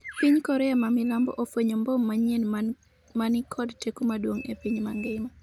piny Korea ma milambo ofwenyo mbom manyien ma ni kod teko maduong' e piny mangima